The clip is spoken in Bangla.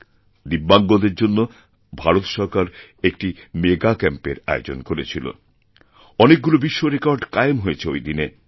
দিব্যাঙ্গদের জন্য ভারত সরকার একটি মেগা ক্যাম্প এর আয়োজন করেছিলঅনেকগুলো বিশ্বরেকর্ড কায়েম হয়েছে ওই দিন